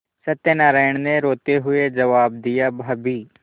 सत्यनाराण ने रोते हुए जवाब दियाभाभी